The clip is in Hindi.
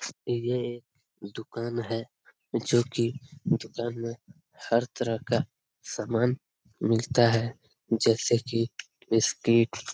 यह एक दुकान है जो कि दुकान में हर तरह का सामान मिलता है जैसे कि बिस्किट ।